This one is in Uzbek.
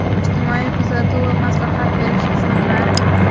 ijtimoiy kuzatuv va maslahat berish xizmatlari;.